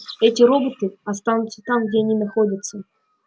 эти роботы останутся там где они находятся